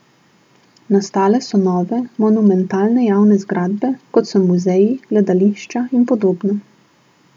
Nastale so nove, monumentalne javne zgradbe, kot so muzeji, gledališča in podobno.